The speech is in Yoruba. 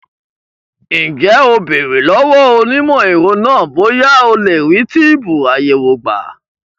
Ǹjẹ́ o béèrè lọ́wọ́ onímọ̀ ẹ̀rọ náà bóyá a lè rí túbùù àyẹ̀wò gbà?